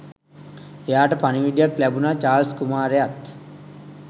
එයාට පණිවිඩයක් ලැබුනා චාල්ස් කුමාරයත්